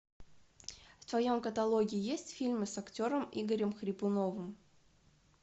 в твоем каталоге есть фильмы с актером игорем хрипуновым